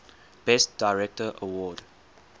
best director award